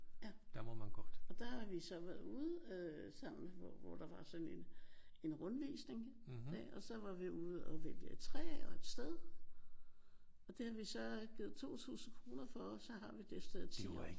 Ja. Og der har vi så været ude øh sammen med hvor hvor der var sådan en en rundvisningsdag og så var vi ude at vælge et træ og et sted og det har vi så givet 2000 kroner for og så har vi det sted i 10 år